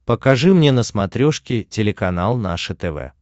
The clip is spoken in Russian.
покажи мне на смотрешке телеканал наше тв